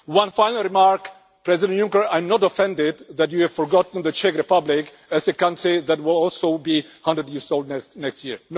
One final remark, President Juncker I am not offended that you have forgotten the Czech Republic as a country that will also be a hundred years old next year.